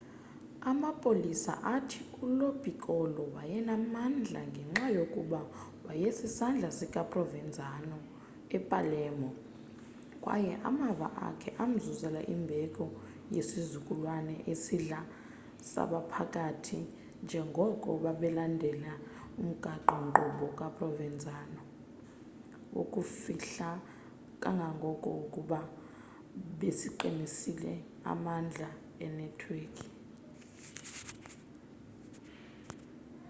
amapolisa athi ulo piccolo wayenamandla ngenxa yokuba waysisandla sika provenzano epalermo kwaye amava akhe amzuzela imbeko yesizukulwana esidala sabaphathi njengoko babelandela umgaqo-nkqubo kaprovenzano wokuzifihla kangangoko kuba besaqinisa amandla enetwekhi